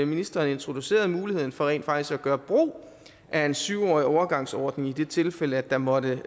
ministeren introducerede muligheden for rent faktisk at gøre brug af en syv årig overgangsordning i det tilfælde at der måtte